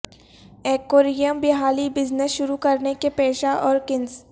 aquarium بحالی business شروع کرنے کے پیشہ اور کنس